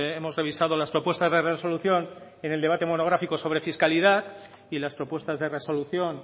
hemos revisado las propuestas de resolución en el debate monográfico sobre fiscalidad y las propuestas de resolución